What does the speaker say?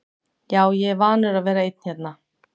Já, ég er vanur að vera einn hérna.